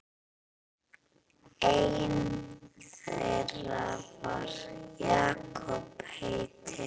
Einn þeirra var Jakob heitinn